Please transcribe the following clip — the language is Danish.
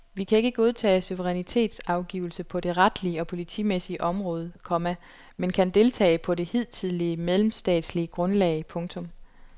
Vi kan ikke godtage suverænitetsafgivelse på det retlige og politimæssige område, komma men kan deltage på det hidtidige mellemstatslige grundlag. punktum